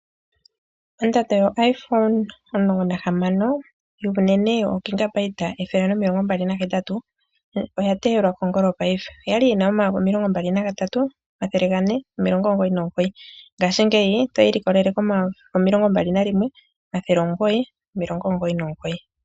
Ondando yo Iphone 16 yuunene 128GB, oya teyelwa kongolo paife, oya li yina 23 999 ngashingeyi oto yiilikolele ko 21 999.